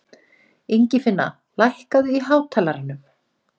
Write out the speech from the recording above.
Ingifinna, lækkaðu í hátalaranum.